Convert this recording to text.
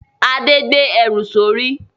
Adé gbé ẹrù sórí